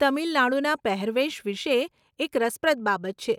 તમિલ નાડુના પહેરવેશ વિષે એક રસપ્રદ બાબત છે.